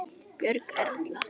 Björg Erla.